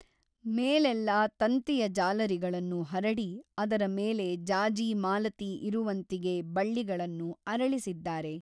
ಮೇಲೆಲ್ಲಾ ತಂತಿಯ ಜಾಲರಿಗಳನ್ನು ಹರಡಿ ಅದರ ಮೇಲೆ ಜಾಜಿ ಮಾಲತಿ ಇರುವಂತಿಗೆ ಬಳ್ಳಿಗಳನ್ನು ಅರಳಿಸಿದ್ದಾರೆ.